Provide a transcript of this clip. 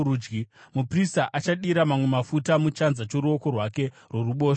Muprista achadira mamwe mafuta muchanza choruoko rwake rworuboshwe